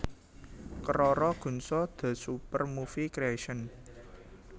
Keroro Gunso the Super Movie Creation